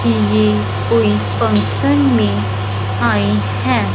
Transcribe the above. कि ये कोई फंक्शन में आए हैं।